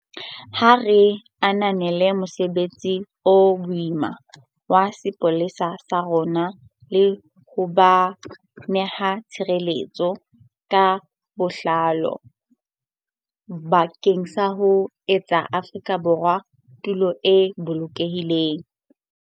Ha re ananeleng mosebetsi o boima wa sepolesa sa rona le ho ba neha tshehetso ka botlalo bakeng sa ho etsa Afrika Borwa tulo e bolokehileng.